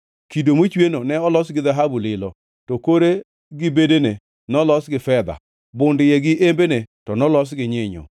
Kido mochweno ne olos gi dhahabu lilo, to kore gi bedene nolos gi fedha. Bund iye gi embene to nolos gi nyinyo,